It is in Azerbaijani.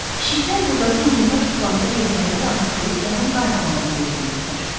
Pişiklər buradakı nimdaş divanda yerlərini rahatlayıb onun qayıtmağını gözləyirdilər.